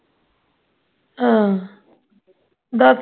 ਆਹ ਦਸ